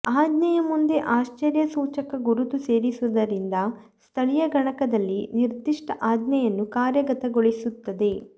ಆಜ್ಞೆಯ ಮುಂದೆ ಆಶ್ಚರ್ಯಸೂಚಕ ಗುರುತು ಸೇರಿಸುವುದರಿಂದ ಸ್ಥಳೀಯ ಗಣಕದಲ್ಲಿ ನಿರ್ದಿಷ್ಟ ಆಜ್ಞೆಯನ್ನು ಕಾರ್ಯಗತಗೊಳಿಸುತ್ತದೆ